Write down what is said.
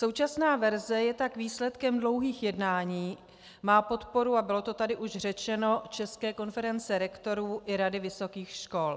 Současná verze je tak výsledkem dlouhých jednání, má podporu - a bylo to tady už řečeno - České konference rektorů i Rady vysokých škol.